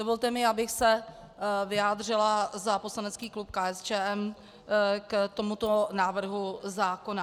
Dovolte mi, abych se vyjádřila za poslanecký klub KSČM k tomuto návrhu zákona.